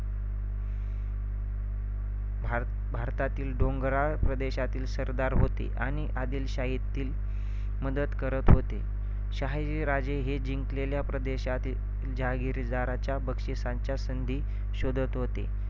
भार~ भारतातील डोंगराळ प्रदेशातील सरदार होते आणि आदिलशाहीतील मदत करत होते. शहाजीराजे हे जिंकलेल्या प्रदेशातील जहागीरच्या बक्षिसाच्या संधी शोधत होते,